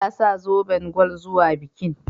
Ta sa zoben gwal zuwa bikin.